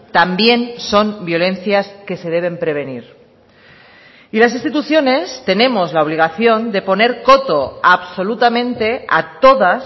también son violencias que se deben prevenir y las instituciones tenemos la obligación de poner coto absolutamente a todas